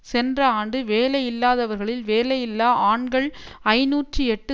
சென்ற ஆண்டு வேலையில்லாதவர்களில் வேலையில்லா ஆண்கள் ஐநூற்று எட்டு